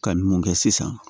Ka ninnu kɛ sisan